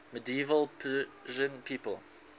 medieval persian people